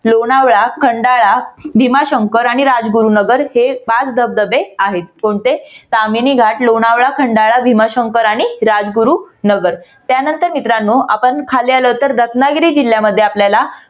लोणावळा, खंडाळा, भीमाशंकर आणि राजगुरूनगर हे पाच धबधबे आहेत. कोणते? कामिनी घाट, लोणावळा, खंडाळा, भीमाशंकर आणि राजगुरूनगर त्यानंतर मित्रनाओ आपण खाली आलो तर रत्नागिरी जिल्ह्यामध्ये आपल्याला